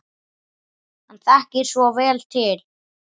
Hann þekkir svo vel til.